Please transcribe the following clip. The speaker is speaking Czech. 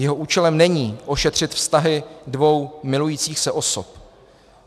Jeho účelem není ošetřit vztahy dvou milujících se osob.